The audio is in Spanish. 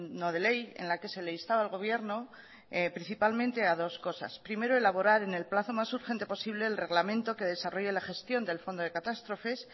no de ley en la que se le instaba al gobierno principalmente a dos cosas primero elaborar en el plazo más urgente posible el reglamente que desarrolle la gestión del fondo de catástrofes